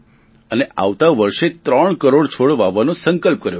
અને આવતા વર્ષે ત્રણ કરોડ છોડ વાવવાનો સંકલ્પ કર્યો છે